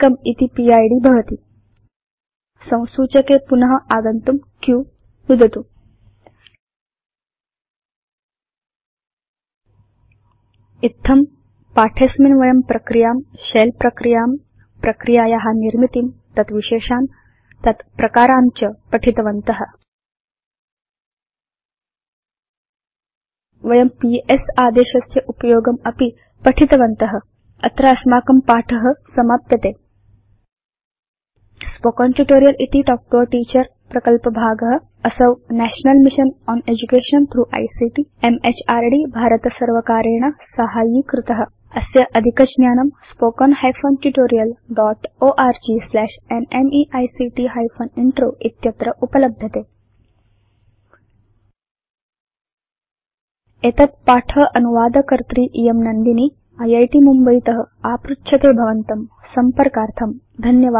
इति पिद् भवति संसूचके पुन आगन्तुं q नुदतु इत्थम् अस्मिन् पाठे वयं प्रक्रियां शेल प्रक्रियां प्रक्रियाया निर्मितिं तत् विशेषान् तत् प्रकारान् च पठितवन्त वयं पीएस आदेशस्य उपयोगम् अपि पठितवन्त अत्र अस्माकं पाठ समाप्यते स्पोकेन ट्यूटोरियल् इति तल्क् तो a टीचर प्रकल्पभागअसौ national mission on education through ICT MHRD भारतसर्वकारेण साहाय्यीकृत अस्य अधिकज्ञानम् httpspoken tutorialorgNMEICT Intro spoken hyphen tutorial dot org slash NMEICT hyphen intro इत्यत्र उपलभ्यते एतत् पाठ अनुवादकर्त्री इयं घाग नन्दिनी इत् मुम्बयीत आपृच्छते भवतसंपर्कार्थं धन्यवादा